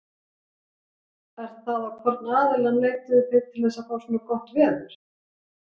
Er það á hvorn aðilann leituðu þið til að fá svona gott veður?